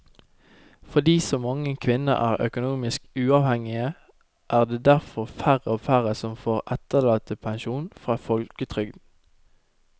Fordi så mange kvinner er økonomisk uavhengige er det derfor færre og færre som får etterlattepensjon fra folketrygden.